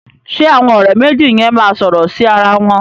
Ṣẹ àwọn ọ̀rẹ́ méjì yẹn máa sọ̀rọ̀ sí ara wọn